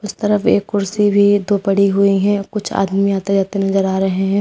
इस तरफ एक कुर्सी भी दो पड़ी हुई हैं कुछ आदमी आते जाते नजर आ रहे हैं।